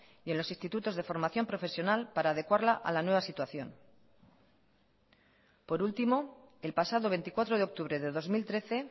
y en los institutos de formación profesional para adecuarla a la nueva situación por último el pasado veinticuatro de octubre de dos mil trece